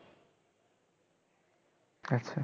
আচ্ছা